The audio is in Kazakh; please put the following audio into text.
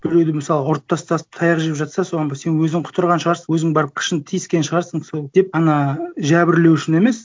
біреуді мысалы ұрып тастаса таяқ жеп жатса соған сен өзің құтырған шығарсың өзің барып қышынып тиіскен шығарсың сол деп ана жәбірлеушіні емес